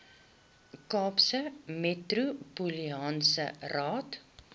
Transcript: kaapse metropolitaanse raad